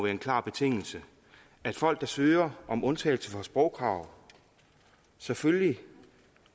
en klar betingelse at folk der søger om undtagelse fra sprogkrav selvfølgelig